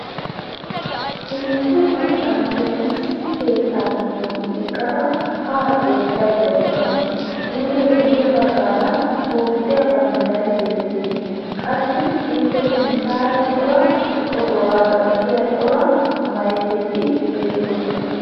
Issi maccassiya issi keettaa giddon eqqada haa xeellayda de'awusu. Ippe guye baggaara Toophphiya banddiray beettees, qassi Ippe sinttaara cora oduwa gatiya cora maykketi beettoosona.